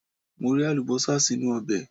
Mo rẹ Àlùbọ́sà sínú ọbẹ̀.